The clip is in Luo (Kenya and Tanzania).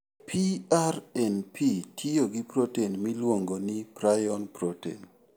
PRNP tiyo gi protein miluongo ni prion protein.